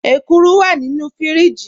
Ẹ̀kúrù wà nínu fíríjì.